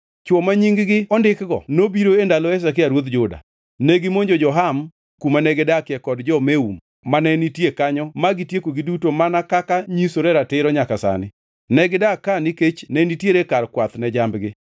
Chwo ma nying-gi ondikgo nobiro e ndalo Hezekia ruodh Juda. Negimonjo jo-Ham kuma negidakie kod jo-Meun mane nitie kanyo ma gitiekogi duto mana kaka nyisore ratiro nyaka sani. Negidak ka nikech ne nitiere kar kwath ne jambgi.